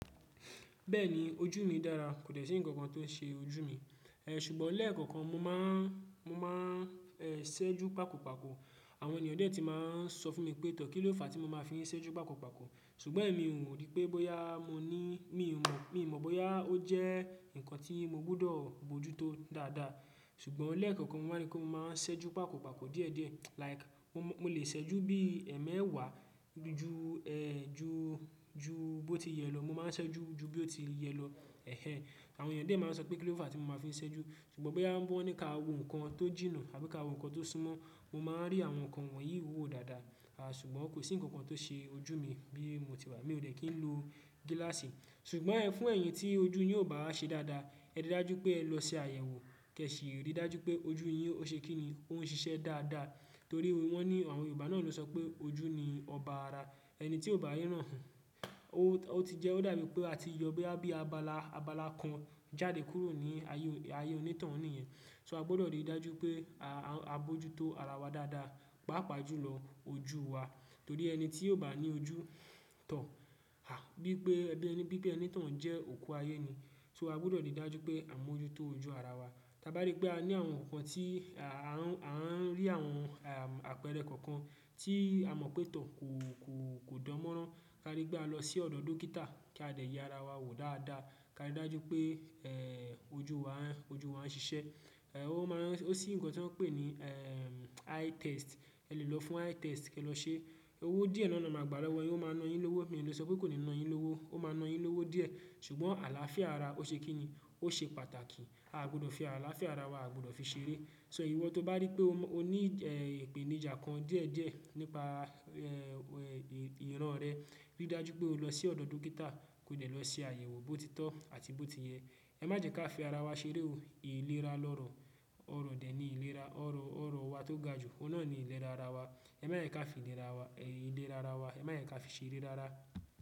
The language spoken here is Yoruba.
Bẹ́ẹ̀ni ojú mi dára kò sì ǹkankan tó ṣe ojú mi, ṣùgbọ́n lẹ́ẹ̀kọ̀kan mo máa ń ṣẹ́jú pàkó pàkó àwọn ènìyàn díẹ̀ ti máa ń sọ fún mi pé tàn kí ló fà á tí mo máa fi ń ṣẹ́jú pàkó pàkó ṣùgbọ́n èmi ò rí pé bóyá mo ní mi ò mọ̀ bóyá ó jẹ́ ǹkan tí mo gbọ́dọ̀ bojútó dáadáa ṣùgbọ́n lẹ́ẹ̀kọ̀kan mo máa rí pé mo máa ń ṣẹ́jú pàkó pàkó díẹ̀ díẹ̀ like mo lè ṣẹ́jú bí ẹmẹ́wàá ju bó ti yẹ lọ mo máa ń ṣẹ́jú ju bí ó ti yẹ lọ. Ẹ̀hẹ̀n àwọn ènìyàn dẹ̀ máa ń sọ pé kí ló fà tí mo máa fi ń ṣẹ́jú ṣùgbọ́n bóyá wọ́n ní ká wo ǹkan tó jìnnà àbí ká wo ǹkan tó súmọ́ mo máa rí àwọn nǹkan wọ̀nyí wò dáadáa ṣùgbọ́n kò sí ǹkankan tó ṣe ojú mi bí mo ti wà mi ò dẹ́kìn ló gíláàsì ṣùgbọ́n fún ẹ̀yin tí ojú yín ò bá ṣe dáadáa ẹ rí dájú pé ẹ lọ sí àyẹ̀wò kẹ̀ sì rí dájú pé ojú yín ó ṣe kí ni ó ń ṣiṣẹ́ dáadáa torí wọ́n ni àwọn Yorùbá náà ló sọ pé ojú ni ọba ara ẹni tí ò bá ríran òhún ó ti jẹ́ ó dàbí pé a ti yọ bí àbí abala abala kan jáde kúrò ní ayé òní tàhun ní yẹn. So a gbọ́dọ̀ rí dájú pé à bojútó ara wa dáadáa pàápàá jùlọ ojú wa torí ẹni tí yóò bá ní ojú tàn bí i pé ẹni tí òhún jẹ́ òkú ayé ni. So a gbọ́dọ̀ rí dájú pé à mojútó ojú ara wa. Tábá rí pé a ní àwọn nǹkan tí à ń rí àwọn àpẹẹrẹ kọ̀ọ̀kan tí a mọ̀ pé tàn kò dánmọ́rán ká rí pé a lọ sí ọ̀dọ̀ dókítà kí a lè ya ara wa wò dáadáa ká rí dájú pé ojú wa ń ṣiṣẹ́. Ó sì ǹkan tí wọ́n ń pè ní eye test ẹ lè lọ fún eye test kí ẹ lọ ṣe owó díẹ̀ náà máa gbálẹ̀ ẹ yóò máa na ẹ lówó mi ò lè sọ pé kò ní na ẹ lówó ó máa na ẹ lówó díẹ̀ ṣùgbọ́n àlàáfíà ara ó ṣe kín ni ó ṣe pàtàkì áà gbọ́dọ̀ fi àlàáfíà ara wa a gbọ́dọ̀ fi ṣeré. So ìwọ tó bá rí pé o ní ìpèníjà kan díẹ̀ díẹ̀ nípa ìran rẹ rí dájú pé o lọ sí ọ̀dọ̀ dókítà kò jẹ̀ lọ sí àyẹ̀wò bó ti tọ́ àti bó ti yẹ ẹ má jẹ kí a fi ara wa ṣeré o ìlera lọ́rọ̀ ọ̀rọ̀ dẹ̀ ni ìlera ọ̀rọ̀ ọ̀rọ̀ wa tó ga jù ohùn náà ni ìlera ara wa ẹ má yẹn ká fi ìlera ara wa ẹ má yẹn ká fi ṣeré dára.